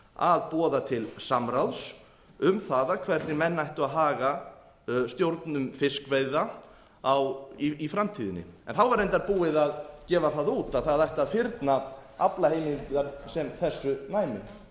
að boða til samráðs um það hvernig menn ættu að haga stjórn fiskveiða í framtíðinni þá var reyndar búið að gefa það út að það ætti að fyrna aflaheimildir sem þessu næmi